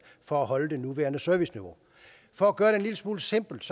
for at holde det nuværende serviceniveau for at gøre det en lille smule simpelt